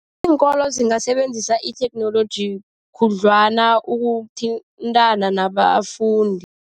Iinkolo zingasebenzisa itheknoloji khudlwana ukuthintana nabafundi.